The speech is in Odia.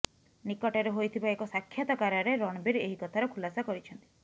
ନିକଟରେ ହୋଇଥିବା ଏକ ସାକ୍ଷାତକାରରେ ରଣବୀର ଏହି କଥାର ଖୁଲାସା କରିଛନ୍ତି